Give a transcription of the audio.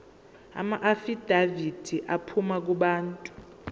amaafidavithi aphuma kubantu